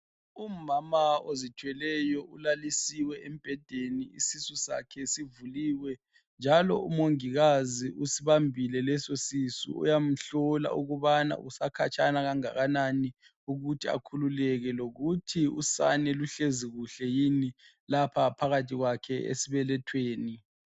Umama ozithweleyo ulalisiwe embhedeni isisu sakhe sivuliwe njalo umongikazi usibambile lesosisu uyamhlola ukubana usekhatshana kanganani ukuthi akhululeke njalo usane luhlezi kuhle yini phakathi kwakhe esibelethweni.